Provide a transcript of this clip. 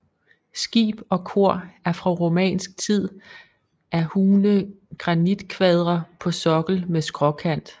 Skib og kor er fra romansk tid af hugne granitkvadre på sokkel med skråkant